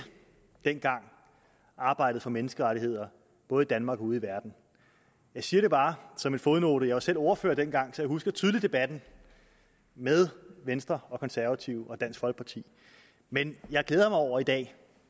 arbejdet for menneskerettigheder både i danmark og ude i verden jeg siger det bare som en fodnote jeg var selv ordfører dengang så jeg husker tydeligt debatten med venstre konservative og dansk folkeparti men jeg glæder mig over i dag